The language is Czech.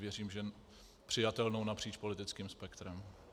Věřím, že přijatelnou napříč politickým spektrem.